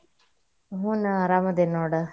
ಹ್ಮ್ ನಾನ್ ಅರಾಮದೇನಿ ನೋಡ.